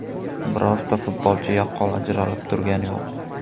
Birorta futbolchi yaqqol ajralib turgani yo‘q.